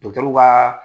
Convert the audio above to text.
ka